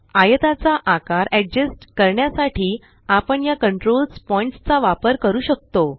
आयताचा आकार अड्जस्ट करण्यासाठी आपण या कंट्रोल्स पॉइण्ट्स चा वापर करू शकतो